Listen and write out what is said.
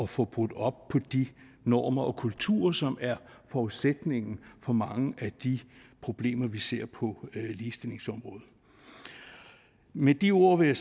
få brudt op i de normer og kulturer som er forudsætningen for mange af de problemer vi ser på ligestillingsområdet med de ord vil